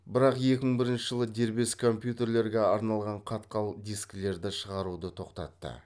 бірақ екі мың бірінші жылы дербес компьютерлерге арналған қатқал дискілерді шығаруды тоқтатты